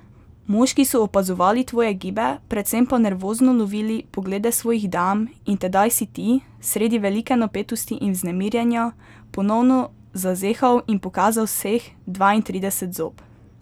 Moški so opazovali tvoje gibe, predvsem pa nervozno lovili poglede svojih dam, in tedaj si ti, sredi velike napetosti in vznemirjenja, ponovno zazehal in pokazal vseh dvaintrideset zob.